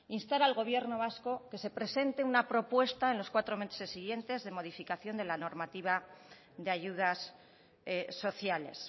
instar al gobierno vasco a que se presente una propuesta en los cuatro meses siguientes de modificación de la normativa de ayudas sociales